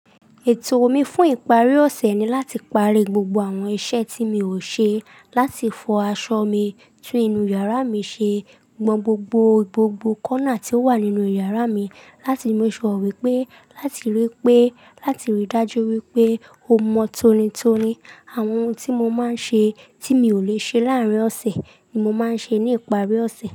Ètò mi fún ìparí ọ̀sẹ̀ ni láti parí gbogbo àwọn iṣẹ́ tí mi ò ṣe, láti fọ aṣọ mi, tún inú yàrá mi ṣe, gbọn gbogbo, gbogbo corner tí ó wà nínú yàrá mi, láti make sure ó wipé, láti rí pé, láti rí dájú wípé ó mọ tonitoni. Àwọn ohun tí mo máa ń ṣe, tí mi ò lè ṣe láàárín ọ̀sẹ̀ ni mo máa ń ṣe ní ìparí ọ̀sẹ̀